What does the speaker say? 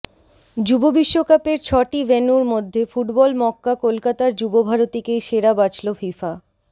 যুব বিশ্বকাপের ছটি ভেন্যুর মধ্যে ফুটবল মক্কা কলকাতার যুবভারতীকেই সেরা বাছল ফিফা